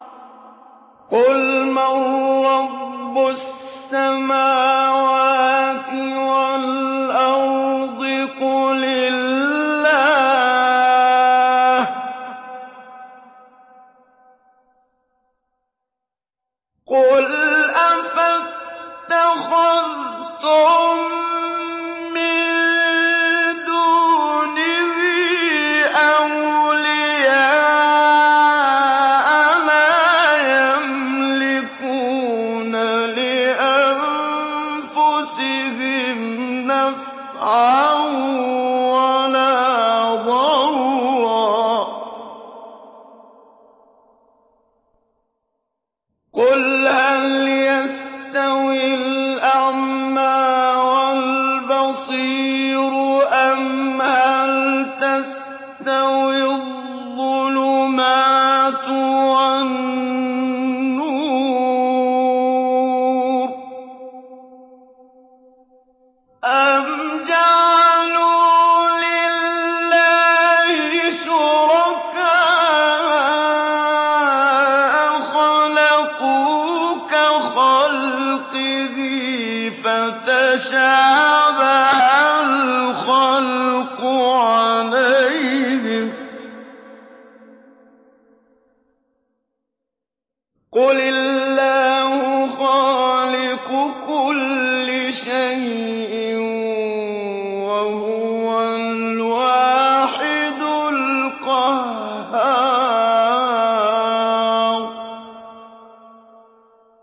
قُلْ مَن رَّبُّ السَّمَاوَاتِ وَالْأَرْضِ قُلِ اللَّهُ ۚ قُلْ أَفَاتَّخَذْتُم مِّن دُونِهِ أَوْلِيَاءَ لَا يَمْلِكُونَ لِأَنفُسِهِمْ نَفْعًا وَلَا ضَرًّا ۚ قُلْ هَلْ يَسْتَوِي الْأَعْمَىٰ وَالْبَصِيرُ أَمْ هَلْ تَسْتَوِي الظُّلُمَاتُ وَالنُّورُ ۗ أَمْ جَعَلُوا لِلَّهِ شُرَكَاءَ خَلَقُوا كَخَلْقِهِ فَتَشَابَهَ الْخَلْقُ عَلَيْهِمْ ۚ قُلِ اللَّهُ خَالِقُ كُلِّ شَيْءٍ وَهُوَ الْوَاحِدُ الْقَهَّارُ